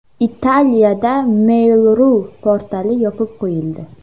Italiyada Mail.ru portali yopib qo‘yildi.